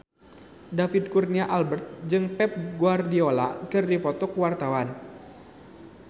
David Kurnia Albert jeung Pep Guardiola keur dipoto ku wartawan